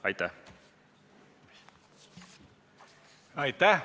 Aitäh!